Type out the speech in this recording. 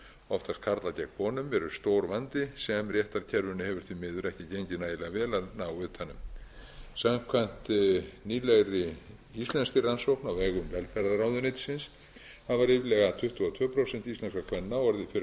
oftast karlar gegn konum eru stór vandi sem réttarkerfinu hefur því miður ekki gengið nægilega vel að ná utan um samkvæmt nýlegri íslenskri rannsókn á vegum velferðarráðuneytisins hafa ríflega tuttugu og tvö prósent íslenskra kvenna orðið